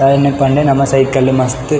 ಪಂಡ ನಮ್ಮ ಸೈಕಲ್ ಮಸ್ತ್.